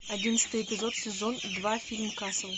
одиннадцатый эпизод сезон два фильм касл